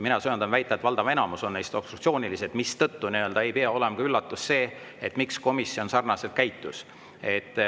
Mina söandan väita, et valdav enamus neist on obstruktsioonilised, mistõttu ei peaks olema üllatus, et komisjon sarnaselt käitus.